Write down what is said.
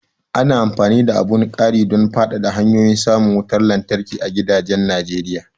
Ana amfani da abun ƙaridon fadada hanyoyin samun wutar lantarki a gidajen Najeriya.